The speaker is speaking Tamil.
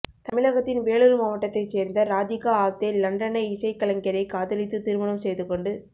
தமிழகத்தின் வேலூர் மாவட்டத்தை சேர்ந்த ராதிகா ஆப்தே லண்டனை இசைக் கலைஞரை காதலித்து திருமணம் செய்துகொண்டு